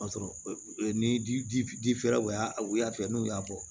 Ni difɛrɛ u y'a fɛ n'u y'a bɔ